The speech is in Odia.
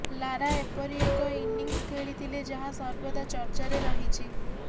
ଲାରା ଏପରି ଏକ ଇନିଂସ ଖେଳିଥିଲେ ଯାହା ସର୍ବଦା ଚର୍ଚ୍ଚାରେ ରହିଛି